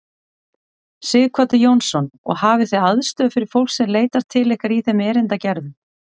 Sighvatur Jónsson: Og hafið þið aðstöðu fyrir fólk sem leitar til ykkar í þeim erindagerðum?